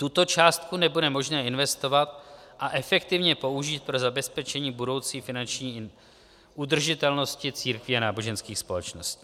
Tuto částku nebude možné investovat a efektivně použít pro zabezpečení budoucí finanční udržitelnosti církví a náboženských společností.